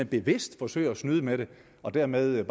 bevidst forsøger at snyde med det og dermed